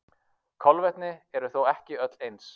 Kolvetni eru þó ekki öll eins.